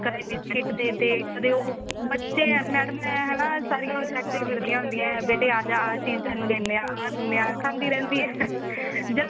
ਕਦੀ biscuit ਦੇਤੇ ਕਦੀ ਉਹ ਬੱਚੇ ਆ madam ਮੈਂ ਨਾ ਹਨਾ ਸਾਰਿਆਂ objective ਮਿਲਦੀਆਂ ਹੁੰਦੀਆਂ ਬੇਟੇ ਆਜਾ ਆਹ ਚੀਜ਼ ਤੈਨੂੰ ਦੇਨੇ ਆਂ ਆਹ ਦੇਨੀ ਖਾਂਦੀ ਰਹਿੰਦੀ ਹੈ ਜਲਦੀ